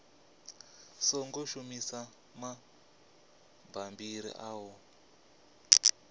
songo shumisa mabammbiri a u